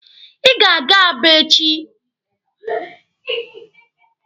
Ị ga-aga Aba echi!